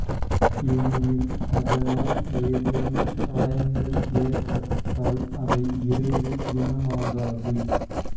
ஏனெனில் அதனால் ஏதேனும் காயங்கள் ஏற்பட்டால் அவை விரைவில் குணமாகாது